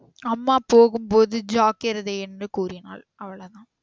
அம்மா போகும் போது ஜாக்கிரதை என்று கூறினாள் அவ்வளோதான்